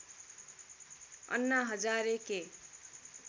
अन्ना हजारे के